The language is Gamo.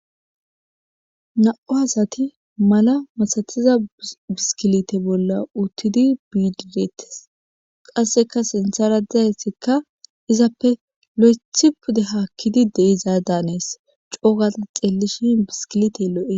na7u asati mala masatiza biskilite bolla uttidi biidiretes qasseka sintharadizaytikka izappe lo7ethi pude haakkidi de izaa daanees coogaza xeellishi biskilite lo7e